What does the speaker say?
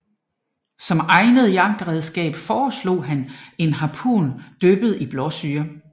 Som egnet jagtredskab foreslo han en harpun dyppet i blåsyre